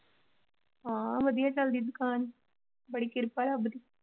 ਹਾਂ ਵਧੀਆ ਚੱਲਦੀ ਦੁਕਾਨ, ਬੜੀ ਕਿਰਪਾ ਰੱਬ ਦੀ।